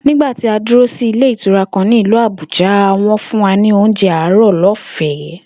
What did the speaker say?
Nígbà tí a dúró sí ilé ìtura kan ní ìlú Àbújá, wó̩n fún wa ní oúnjé àárò̩ ló̩fè̩é̩